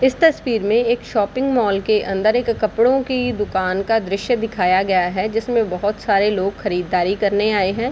इस तस्वीर में एक शॉपिंग मॉल के अंदर एक कपड़ों की दूकान का दृश्य दिखया गया है जिसमे बहोत सारे लोग खरीदारी करने आऐ हैं।